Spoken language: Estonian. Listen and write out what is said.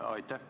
Aitäh!